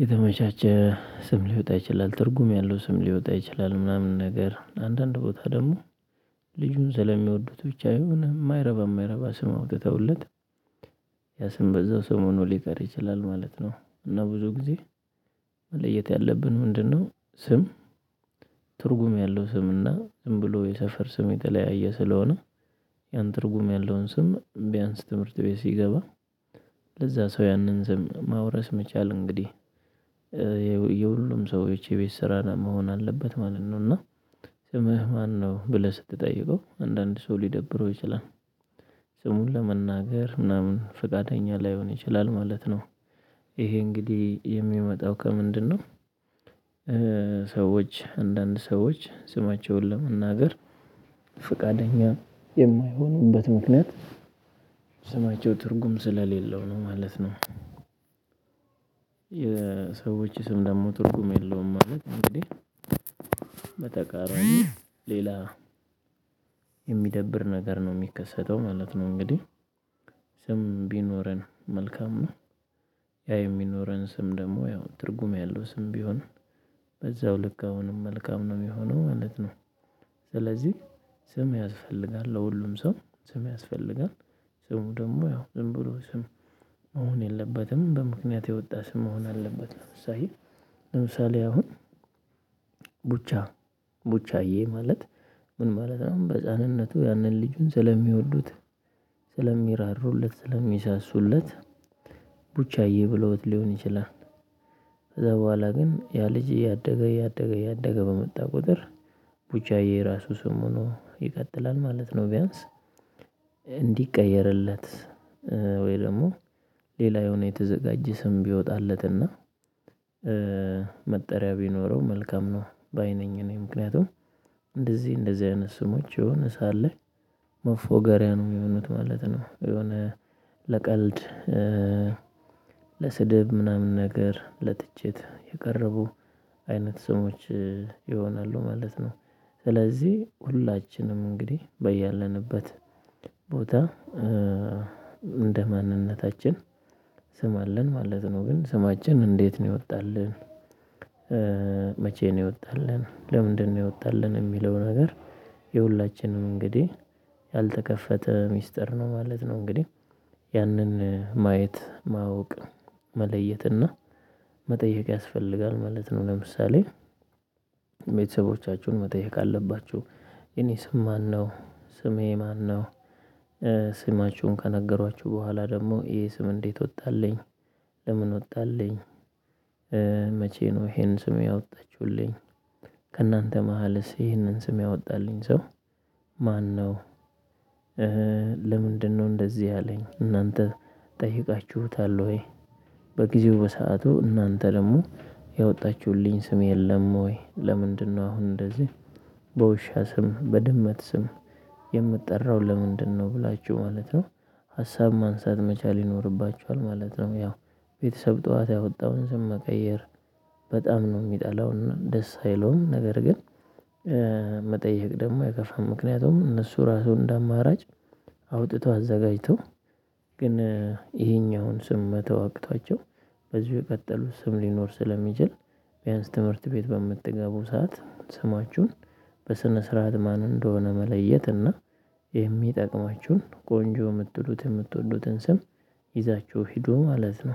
የተመቻቸ ስም ሊወጣ ይችላል ትርጉም ያለው ስም ሊወጣ ይችላል። ምናምን ነገር አንዳንድ ቦታ ደግሞ ልጁን ስለሚወዱት ብቻ የሆነ የማይረባ የማይረባ ስም አውጥተውለት ያሰም በዛው ስምሆኖ ሊቀር ይችላል ማለት ነው። እና ብዙ ጊዜ መለየት ያለብን ምንድነው? ስም ትርጉም ያለው ስምና ዝም ብሎ የሰፈር ስም የተለያየ ስለሆነ ያን ትርጉም ያለውን ስም ቢያንስ ትምህርት ቤት ሲገባ ለዛ ሰው ያንን ስም ማውረስ መቻል እንግዲህ። የሁሉም ሰዎች የቤት ስራ መሆን አለበት ማለት ነው። እና ስምህ ማነው ብለህ ስትጠይቀው አንዳንድ ሰው ሊደብረው ይችላል። ስሙን ለመናገር ምናምን ፈቃደኛ ላይሆን ይችላል ማለት ነው ይሄ እንግዲህ የሚመጣው ከምንድነው? ሰዎች አንዳንድ ሰዎች ስማቸውን ለመናገር ፈቃደኛ ምክንያት ስማቸው ትርጉም ስለሌለው ነው ማለት ነው። የሰዎች ስም ደግሞ ትርጉም የለውም ማለት እንግዲህ። በተቃራኒ ሌላ የሚደብር ነገር ነው የሚከሰተው ማለት ነው። እንግዲህ ስም ቢኖረን መልካሙ ነው። ያ የሚኖረን ስም ደግሞ ያው ትርጉም ያለው ስም ቢሆን በዛው ልክ አሁንም መልካም ነው የሚሆነው ማለት ነው። ስለዚህ ስም ያስፈልጋል ለሁሉም ሰው ስም ያስፈልጋል። ስሙ ደግሞ ያው ዝም ብሎ ስም መሆን የለበትም በምክንያት የወጣ ስም መሆን አለበት። ለምሳሌ አሁን ቡቻ ቡቻዬ ማለት ምን ማለት ነው? በህፃንነቱ ያንን ልጁን ስለሚወዱት ስለሚራሩለት ስለሚሳሱለት ቡቻዬ ብሎት ሊሆን ይችላል። ከዛ በኋላ ግን ያ ልጅ እያደገ እያደገ እያደገ በመጣ ቁጥር ቡቻዬ ራሱ ስም ሆኖ ይቀጥላል ማለት ነው። ቢያንስ እንዲቀየርለት ወይ ደግሞ ሌላ የሆነ የተዘጋጀ ስም ቢወጣለትና መጠሪያ ቢኖረው መልካም ነው። ባይ ነኝ እኔ ምክንያቱም እንደዚህ እንደዚህ አይነት ስሞች የሆነ ሰዓት ላይ መፎገሪያ ነው የሚሆኑት ማለት ነው። የሆነ ለቀልድ ለስድብ ምናምን ነገር ለትችት የቀረቡ አይነት ስሞች ይሆናሉ ማለት ነው። ስለዚህ ሁላችንም እንግዲህ በያለንበት ቦታ እንደ ማንነታችን ስም አለን ማለት ነው። ግን ስማችን እንዴት ነው የወጣልን? መቼ ነው የወጣልን ለምንድነው የወጣልን የሚለው ነገር የሁላችንም እንግዲህ ያልተከፈተ ሚስጥር ነው ማለት ነው። እንግዲህ ያንን ማየት ማወቅ መለየት እና መጠየቅ ያስፈልጋል ማለት ነው። ለምሳሌ ቤተሰቦቻችሁን መጠየቅ አለባችሁ የኔ ስም ማነው ስሜ ማነው? ስማችሁን ከነገሯችሁ በኋላ ደግሞ ይሄ ስም እንዴት ወጣልኝ? ለምን ወጣልኝ? መቼ ነው ይሄንን ስም? ያወጣችሁልኝ ከእናንተ መሃልስ ይሄንን ስም ያወጣልኝ ሰው ማነው? ለምንድነው እንደዚህ ያለኝ እናንተ ጠይቃችሁታል ወይ? በጊዜው በሰአቱ እናንተ ደግሞ ያወጣችሁልኝ ስም የለም ወይ ለምንድነው አሁን እንደዚህ በውሻ ስም በድመት ስም የምጠራው ለምንድነው ብላችሁ ማለት ነው። ሀሳብ ማንሳት መቻል ይኖርባችኋል ማለት ነው። ያው ቤተሰብ ጠዋት ያወጣውን ስም መቀየር በጣም ነው የሚጠላው ደስ አይለውም ነገር ግን። ደግሞ የከፋ ምክንያቱም እነሱ ራሱ እንደ አማራጭ አውጥቶ አዘጋጅቶ ግን ይሄኛውን ስም መተው አቅቷቸው በዚህ በቀጠሉት ስም ሊኖር ስለሚችል። ቢያንስ ትምህርት ቤት በምትገቡ ሰዓት ስማችሁን በስነ ስርዓት ማን እንደሆነ መለየት እና ቆንጆ የምትሉት የምትወዱትን ስም ይዛችሁ ሂዱ ማለት ነው